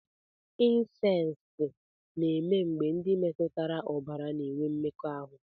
Insesti na-eme mgbe ndị metụtara ọbara na-enwe mmekọahụ.